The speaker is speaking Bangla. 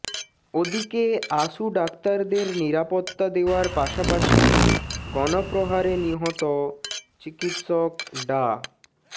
ওদিকে আসু ডাক্তারদের নিরাপত্তা দেওয়ার পাশাপাশি গণপ্ৰহারে নিহত চিকিৎসক ডা